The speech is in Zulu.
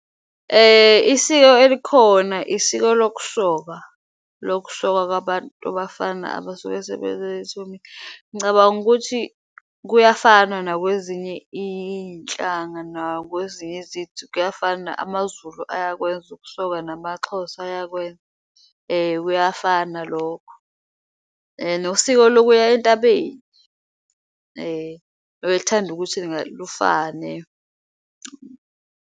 Isiko elikhona isiko lokusoka, lokusokwa kwabafana abasuke ngicabanga ukuthi kuyafana nakwezinye iyinhlanga nakwezinye kuyafana. AmaZulu ayakwenza ukusoka namaXhosa eyakwenza kuyafana lokho nosiko lokuya intabeni liyathanda ukuthi lufane.